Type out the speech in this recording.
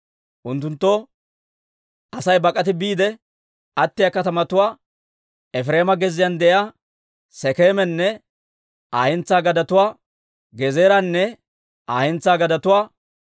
Unttunttoo Asay bak'ati biide attiyaa katamatuwaa, Efireema gezziyaan de'iyaa Sekeemanne Aa hentsaa gadetuwaa, Gezeeranne Aa hentsaa gadetuwaa,